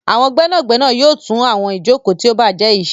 Àwọn gbénàgbénà yóò tún àwọn Ìjoko tí o bàjé yí ṣe.